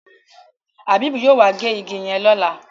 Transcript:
Habib yóò wá gé ìgi yen lọla